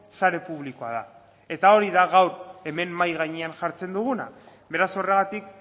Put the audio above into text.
sare publikoa da eta hori da gaur hemen mahai gainean jartzen duguna beraz horregatik